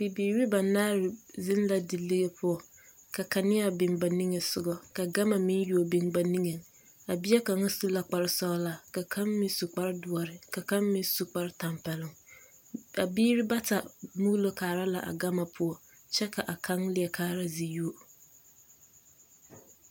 Bibiiri banaare zeŋ la dilige poɔ ka kaneaa biŋ ba nige soga ka gama meŋ yuo biŋ ba nigeŋ a bie kaŋa su la kparesɔglaa ka kaŋ meŋ su kparedoɔre ka kaŋ meŋ su kparetampɛloŋ a biiri bata muulo kaara la a gama poɔ kyɛ a kaŋ leɛ kaara ziyobo.